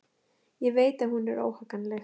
Ég veit að hún er óhagganleg.